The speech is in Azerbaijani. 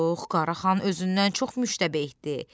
Qara xan özündən çox müştəbehdi.